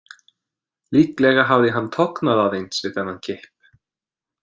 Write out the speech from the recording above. Líklega hafði hann tognað aðeins við þennan kipp.